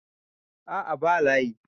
a' a ba layi